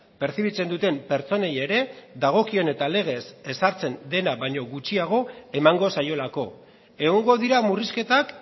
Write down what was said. pertzibitzen duten pertsonei ere dagokion eta legez ezartzen dena baino gutxiago emango zaiolako egongo dira murrizketak